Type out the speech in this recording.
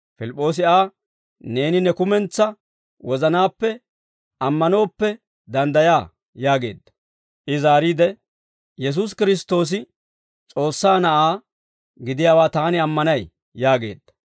Pilip'p'oosi Aa, «Neeni ne kumentsaa wozanaappe ammanooppe, danddayaa» yaageedda. I zaariide, «Yesuusi Kiristtoosi S'oossaa Na'aa gidiyaawaa taani ammanay» yaageedda.